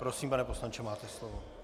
Prosím, pane poslanče, máte slovo.